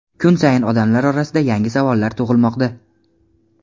kun sayin odamlar orasida yangi savollar tug‘ilmoqda.